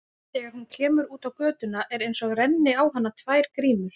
Þegar hún kemur út á götuna er einsog renni á hana tvær grímur.